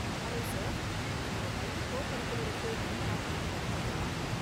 Hello sir, உங்க பையன் கோ கரிகுலருக்கு எந்த ஆக்டிவிட்டி கத்துக்க போறான்?